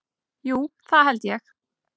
Jú, það held ég.